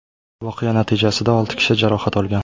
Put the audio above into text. Voqea natijasida olti kishi jarohat olgan.